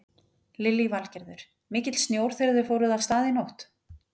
Lillý Valgerður: Mikill snjór þegar þið fóruð af stað í nótt?